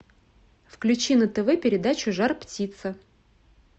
включи на тв передачу жар птица